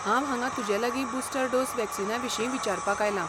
हांव हांगा तुजेलागीं बुस्टर डोस वॅक्सीनाविशीं विचारपाक आयलां.